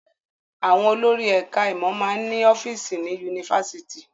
Àwọn olórí ẹ̀ka-ìmọ̀ máa ń ní ọ́fíísì ní yunifásitì.